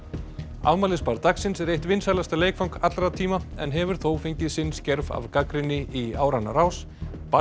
afmælisbarn dagsins er eitt vinsælasta leikfang allra tíma en hefur þó fengið sinn skerf af gagnrýni í áranna rás